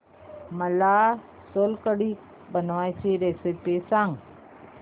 मला सोलकढी बनवायची रेसिपी सांग